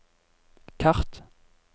kart